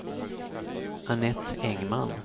Anette Engman